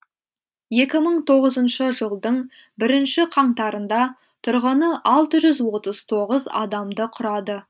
екі мың тоғызыншы жылдың бірінші қаңтарында тұрғыны алты жүз отыз тоғыз адамды құрады